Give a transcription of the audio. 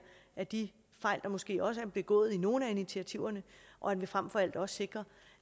af de fejl der måske også er begået i nogle af initiativerne og at vi frem for alt også sikrer